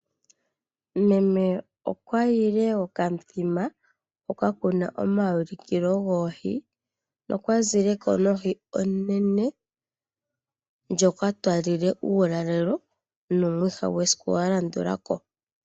Meme okwa yile komaulikilo goohi, ho ka azile ko nohi onene, ndjoka twa li le uulalelo, nomwiha gwesiku lya landulako.